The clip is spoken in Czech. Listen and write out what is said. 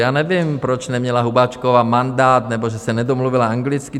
Já nevím, proč neměla Hubáčková mandát, nebo že se nedomluvila anglicky?